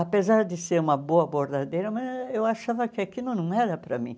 Apesar de ser uma boa bordadeira, mas eu achava que aquilo não era para mim.